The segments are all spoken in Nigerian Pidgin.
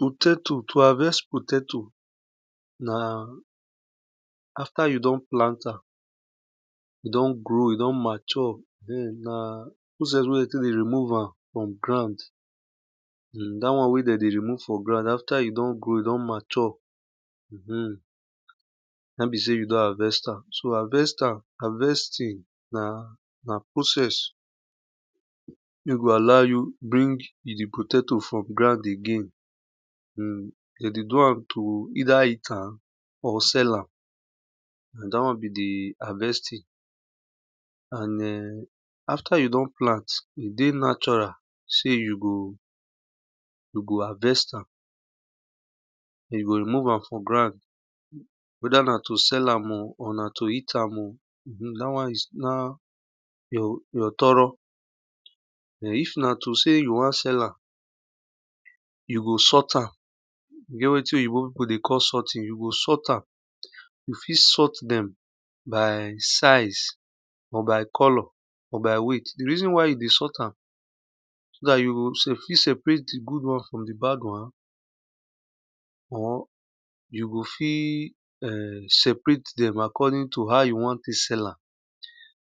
Potato to harvest potato na after you don plant am e don grow e don mature na those things wey tek dey remove am from ground after e don gro e don matuere hmm n aim be sey you don harvest am. To harvest am harvesting na process wey you go allow you bring di potato from ground again de dey do am to either heat am or sell am na da won be di harvesting. And[um]after you don plant e dey natural sey you go harvest am den you remove am from ground weda na to sell am o or na to eat am o da wan is na you thourough den if na to sey you wan sell am, you go sort am e get wetin oyibo pipu dey call sorting, you go sort am you fit sort dem by size or by color or by weight di reason why you dey sort am so dat you fit sepeat di good one from di bad won or you go fit[um]separate dem according to how you won tek sell am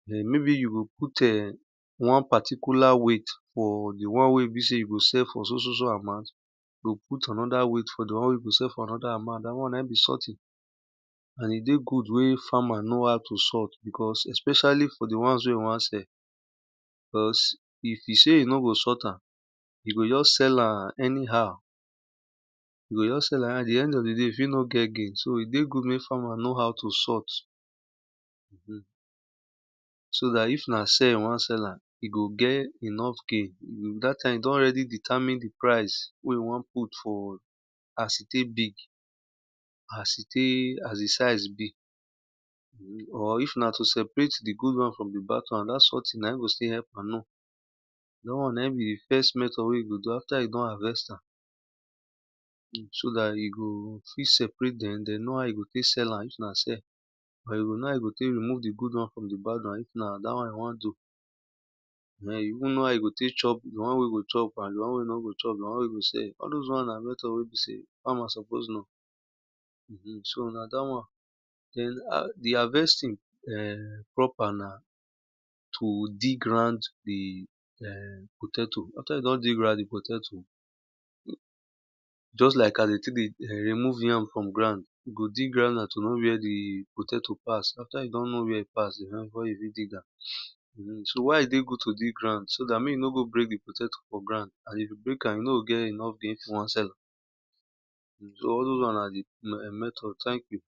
den maybe you go put[um]wan particular weifght for di won wy e be sey you go sell for so so so mount but look for another won wey you go sell for anoda amount and e dey good mek farmer know how to sort especially for di wons wey you wan sell. But if e seye no go sort am, e go just sell am anyhow and di end of di day e fit no get gain so e good mek farmer know how to sort. So if na sell e wan sell am, e go get enough gain, dat time e don already determine di orice wey e won pout as e tek big as di siae be if na to separate fdi good wons from di bad wan dat sorting na in go still help am. Da won na in be di first method ater e don harvest am so dat e go fit seperete dem so dat e go know how to tek remove di good wan from di bad wan if na dat won e won do. And e go even know how e go tek chop di won e no chop, di won wey e go sell, all those wons na method wey be sey una suppose know so na da won na di harvesting[um]crop and to dig ground ehh potato after you don dig di potato just like as de tek dey remove yam from ground, e go dig round to know where di potato pass, after you don know where e pass den you fit dig am. So why e dey good to dig round so mek e no go break di potato for ground and if you break am, you nor o get enough gain if you wan sell am. Soall those won na di method thank you.